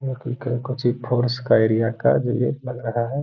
ये कोई फोर्स का एरिया का जो ये लग रहा है।